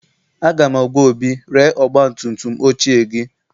Aga m agwa Obi, ree ọgbatumtum ochie gị!